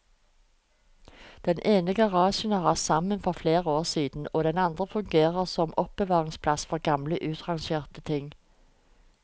Den ene garasjen har rast sammen for flere år siden, den andre fungerer som oppbevaringsplass for gamle utrangerte ting.